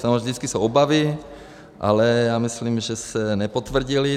Samozřejmě vždycky jsou obavy, ale já myslím, že se nepotvrdily.